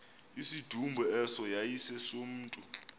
isidumbu eso yayisesomntu